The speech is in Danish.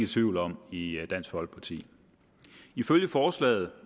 tvivl om i dansk folkeparti ifølge forslaget